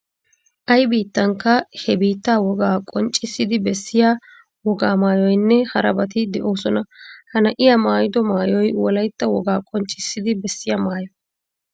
Ay biittankka he biittaa wogaa qonccissidi bessiya wogaa maayoynne harabati de'oosona. Ha na'iya maayido maayoy wolaytta wogaa qonccissidi bessiya maayo.